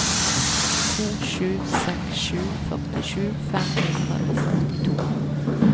to sju seks sju førtisju fem hundre og førtito